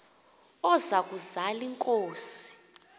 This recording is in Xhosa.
oza kuzal inkosi